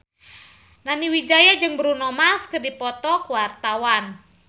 Nani Wijaya jeung Bruno Mars keur dipoto ku wartawan